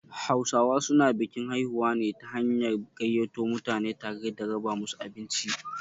Hausawa su na bikin haihuwa ne ta hanyar gaiyato mutane tare da raba musu abinci